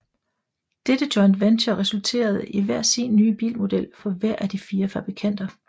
Dette joint venture resulterede i hver sin nye bilmodel for hver af de fire fabrikanter